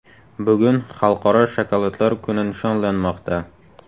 Bugun Xalqaro shokoladlar kuni nishonlanmoqda .